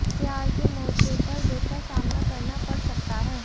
प्यार के मोर्चे पर दुख का सामना करना पङ सकता है